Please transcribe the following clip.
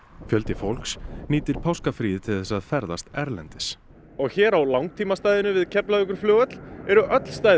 fjöldi fólks nýtir páskafríið til þess að ferðast erlendis og hér á við Keflavíkurflugvöll eru öll stæði